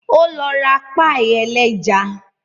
Ó lọ ra páì ẹlẹ́ja